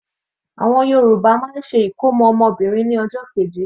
Àwọn Yorùbá máa ń ṣe ìkómọ́ ọmọ Obìnrin ní ọjọ́ keje.